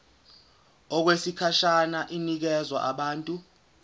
okwesikhashana inikezwa abantu